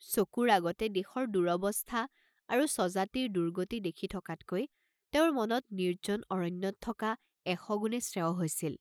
চকুৰ আগতে দেশৰ দুৰৱস্থা আৰু স্বজাতিৰ দুৰ্গতি দেখি থকাতকৈ তেওঁৰ মনত নিৰ্জ্জন অৰণ্যত থকা এশ গুণে শ্ৰেয়ঃ হৈছিল।